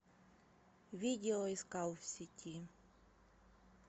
видео искал в сети